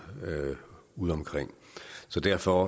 udeomkring så derfor